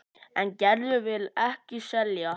En Gerður vill ekki selja.